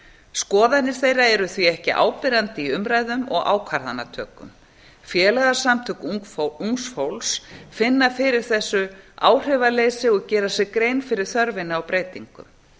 skoðanir þeirra eru því ekki áberandi í umræðum og ákvarðanatöku félagasamtök ungs fólks finna fyrir þessu áhrifaleysi og gera sér grein fyrir þörfinni á breytingum